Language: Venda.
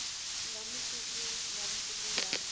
nga matuku nga matuku nga